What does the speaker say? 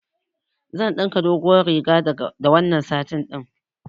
Zan ɗinka doguwar riga da wannan satin ɗin.